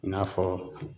I n'a fɔ